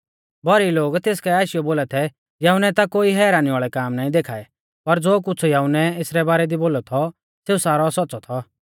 भौरी लोग तेस काऐ आशीयौ बोला थै यहुन्नै ता कोई हैरानी वाल़ै काम नाईं देखाऐ पर ज़ो कुछ़ यहुन्नै एसरै बारा दी बोलौ थौ सेऊ सारौ सौच़्च़ौ थौ